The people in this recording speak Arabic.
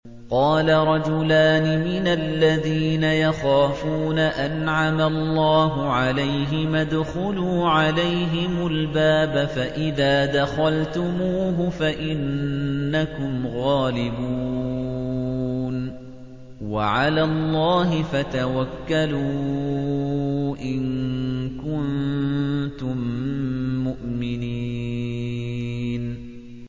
قَالَ رَجُلَانِ مِنَ الَّذِينَ يَخَافُونَ أَنْعَمَ اللَّهُ عَلَيْهِمَا ادْخُلُوا عَلَيْهِمُ الْبَابَ فَإِذَا دَخَلْتُمُوهُ فَإِنَّكُمْ غَالِبُونَ ۚ وَعَلَى اللَّهِ فَتَوَكَّلُوا إِن كُنتُم مُّؤْمِنِينَ